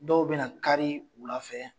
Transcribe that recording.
Dɔw bɛna kari wula fɛ